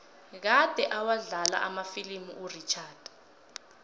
kade awadlala amafilimu urichard